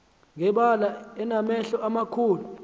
ngebala enamehlo amakhulu